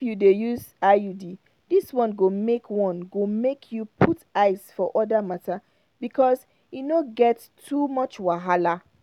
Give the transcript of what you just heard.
if you dey use iud this one go make one go make you put eyes for other matter because e no get too much wahala.